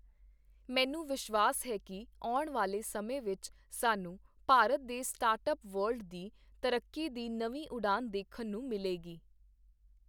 ਮੈਨੂੰ ਵਿਸ਼ਵਾਸ ਹੈ ਕਿ ਆਉਣ ਵਾਲੇ ਸਮੇਂ ਵਿੱਚ ਸਾਨੂੰ ਭਾਰਤ ਦੇ ਸਟਾਰਟਅੱਪ ਵਰਲਡ ਦੀ ਤਰੱਕੀ ਦੀ ਨਵੀਂ ਉਡਾਨ ਦੇਖਣ ਨੂੰ ਮਿਲੇਗੀ।